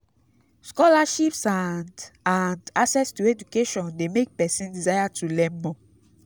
scholarships and and access to education de make persin desire to learn more